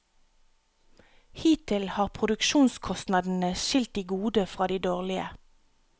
Hittil har produksjonskostnadene skilt de gode fra de dårlige.